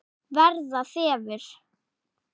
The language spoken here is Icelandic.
Verða þefur.